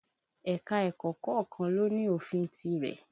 Ẹ̀ka-ẹ̀kọ́ kọ̀ọ̀kan ló ní ofin tirẹ̀